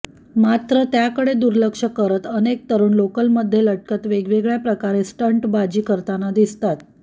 मात्र त्याकडे दुर्लक्ष करत अनेक तरूण लोकलमध्ये लटकत वेगवेगळ्या प्रकारे स्टंटबाजी करताना दिसतात